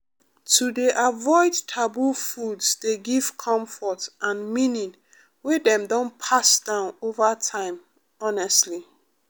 to dey avoid taboo foods dey give comfort and meaning wey dem don pass down over time honestly